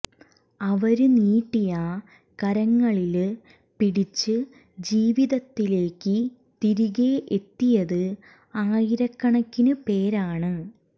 അവര് നീട്ടിയ കരങ്ങളില് പിടിച്ച് ജീവിതത്തിലേക്ക് തിരികേ എത്തിയത് ആയിരക്കണക്കിന് പേരാണ്